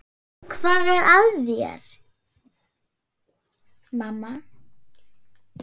Hvað er að þér, mamma?